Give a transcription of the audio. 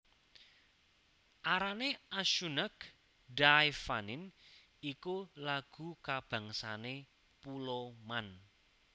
Arrane Ashoonagh Dy Vannin iku lagu kabangsané Pulo Man